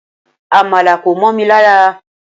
Amala ko momi lara